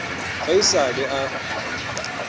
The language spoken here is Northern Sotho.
ge e sa le a